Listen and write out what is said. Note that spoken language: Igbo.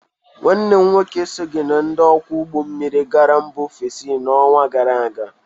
Nwanne m nwoke esoghi na ndị ọkwọ ụgbọ mmiri gara mba ofesi n'ọnwa gara aga.